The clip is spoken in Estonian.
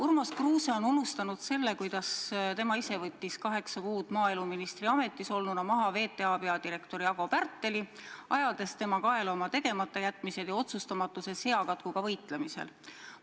Urmas Kruuse on unustanud selle, kuidas tema ise võttis kaheksa kuud maaeluministri ametis olnuna maha VTA peadirektori Ago Pärteli, ajades tema kaela oma tegematajätmised ja otsustamatuse seakatkuga võitlemisel.